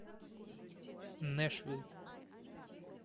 нэшвилл